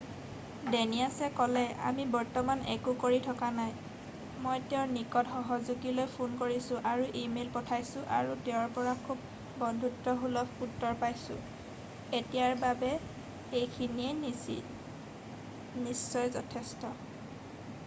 ডেনিয়াছে ক'লে আমি বৰ্তমান একো কৰি থকা নাই মই তেওঁৰ নিকট সহযোগীলৈ ফোন কৰিছোঁ আৰু ইমেইল পঠাইছোঁ আৰু তেওঁৰ পৰা খুব বন্ধুত্বসুলভ উত্তৰ পাইছোঁ এতিয়াৰ বাবে এইখিনিয়ে নিশ্চয় যথেষ্ট